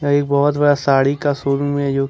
एक बहुत बड़ा साड़ी का शोरूम है जो कि।